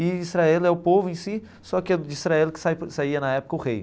E Israel é o povo em si, só que é de Israel que sa saía, na época, o rei.